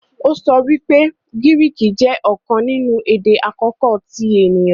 o sọ pé Griiki jé ọkàn nínú èdè àkókò ti èniyàn.